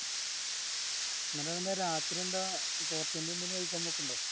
എന്നിട് എന്താ രാത്രി എന്താ എന്തെല് കഴിക്കാൻ പോക്കിൻടോ